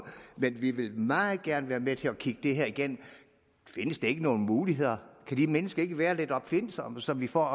men vi vil meget gerne være med til at kigge det her igennem findes der ikke nogle muligheder kan de mennesker ikke være lidt opfindsomme så vi får